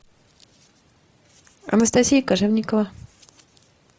анастасия кожевникова